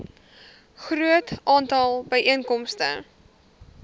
groot aantal byeenkomste